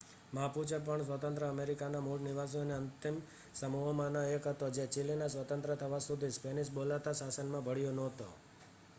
Mapuche પણ સ્વતંત્ર અમેરિકાના મૂળ નિવાસીઓના અંતિમ સમૂહોમાંનો એક હતો જે ચિલીના સ્વતંત્ર થવા સુધી સ્પેનિશ બોલાતા શાસનમાં ભળ્યો નહોતો